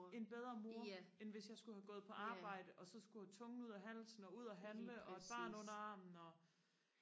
en bedre mor end hvis jeg skulle have gået på arbejde og så skulle have tungen ud af halsen og ud handle og et barn under armen og